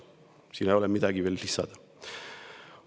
" Siia ei ole midagi lisada.